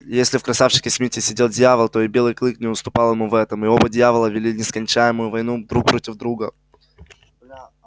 если в красавчике смите сидел дьявол то и белый клык не уступал ему в этом и оба дьявола вели нескончаемую войну друг против друга